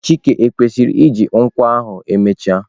chike kwesiri iji nkwọ ahu emechaa?